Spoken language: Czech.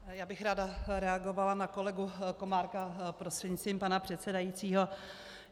Já bych ráda reagovala na kolegu Komárka prostřednictvím pana předsedajícího.